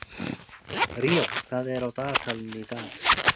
Ríó, hvað er í dagatalinu í dag?